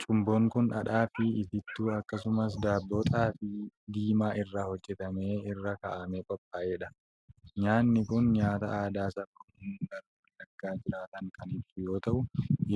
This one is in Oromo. Cumboon kun dhadhaa fi ittittuu akkasumas daabboo xaafii diimaa irraa hojjetame irraa kan qophaa'edha. Nyaanni kun nyaata aadaa saba Oromoo gara Wallaggaa jiraatan kan ibsu yoo ta'u,